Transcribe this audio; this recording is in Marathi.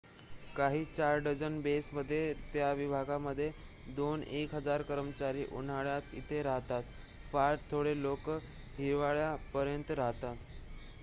काही चार डझन बेस मध्ये त्या विभागामध्ये दोन एक हजार कर्मचारी उन्हाळ्यात इथे राहतात फार थोडे लोक हिवाळ्यापर्यंत राहतात